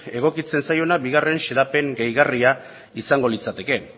egokitzen zaiona bi xedapen gehigarria izango litzateke